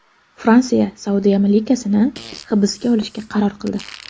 Fransiya Saudiya malikasini hibsga olishga qaror qildi.